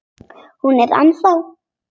Hún er ennþá.